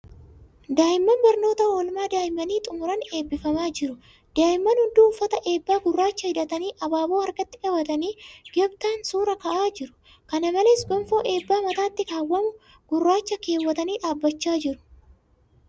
Daa'imman barnoota oolmaa daa'immanii xumuran eebbifamaa jiru. Daa'imman hunduu uffata eebbaa gurraacha hidhatanii abaaboo harkatti qabatanii gamtaan suura ka'aa jiru. Kana malees, gonfoo eebbaa mataatti kaawwamu gurraacha keewwatanii dhaabachaa jiru.